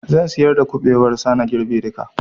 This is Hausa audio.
Zan siyar da kuɓewar sa na girbe duka